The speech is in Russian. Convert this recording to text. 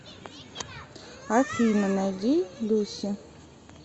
афина найди люси